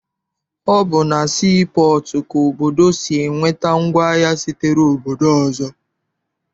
Ọ bụ na sii pọọtụ ka obodo si enweta ngwaahịa sitere obodo ọzọ.